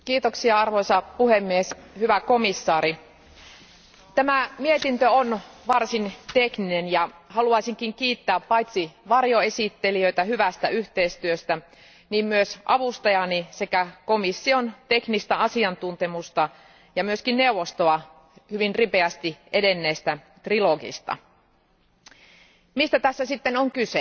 Arvoisa puhemies, hyvä komissaari, tämä mietintö on varsin tekninen ja haluaisinkin kiittää paitsi varjoesittelijöitä hyvästä yhteistyöstä myös avustajaani sekä komission teknistä asiantuntemusta ja myös neuvostoa hyvin ripeästi edenneistä kolmikantaneuvotteluista. Mistä tässä sitten on kyse?